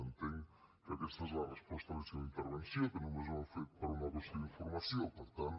entenc que aquesta és la resposta a la seva intervenció que només ho han fet per una qüestió d’informació per tant